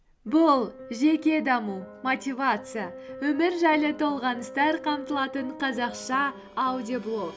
бұл жеке даму мотивация өмір жайлы толғаныстар қамтылатын қазақша аудиоблог